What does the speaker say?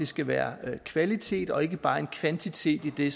skal være kvalitet og ikke bare kvantitet i det